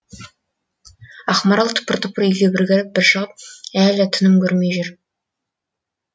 ақмарал тыпыр тыпыр үйге бір кіріп бір шығып әлі тыным көрмей жүр